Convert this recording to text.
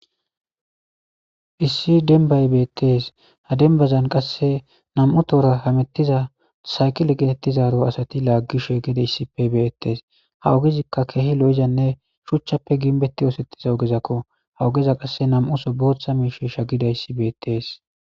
Issi dembay beettees. ha dembazan qassenam7u tohon hamuttiza saykiley geetetizaaro asatilaagishe beettees.ha ogezikka keehi lo7izayssanne shuchappe gimbetti oothettida ogezakko ja ogezakka qasse nam7u bootha bootha miishshey shaakkidayssi beettees.